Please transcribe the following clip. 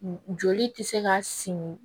Joli tɛ se ka simi